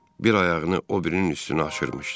Bir ayağını o birinin üstünə aşırmışdı.